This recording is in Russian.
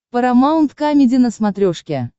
парамаунт камеди на смотрешке